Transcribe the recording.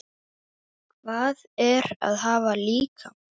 Hvað er að hafa líkama?